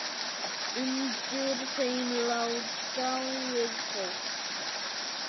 Undir þeim lá dáið fólk.